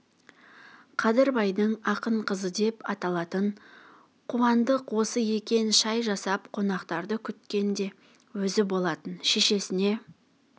қадырбайдың ақын қызы деп аталатын қуандық осы екен шай жасап қонақтарды күткен де өзі болатын шешесіне